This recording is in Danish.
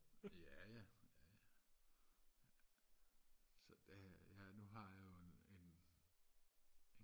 jaja jaja så det nu har jeg jo en en